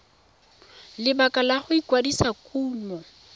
lebaka la go kwadisa kumo